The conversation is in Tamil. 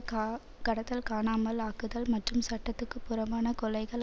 கா கடத்தல் காணாமல் ஆக்குதல் மற்றும் சட்டத்துக்குப் புறம்பான கொலைகள்